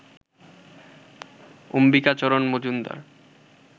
Ambikacharan Majumdar